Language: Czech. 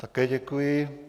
Také děkuji.